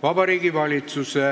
Vabariigi Valitsuse